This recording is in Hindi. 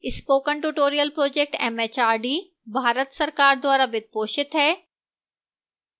spoken tutorial project mhrd Bharat सरकार द्वारा वित्त पोषित है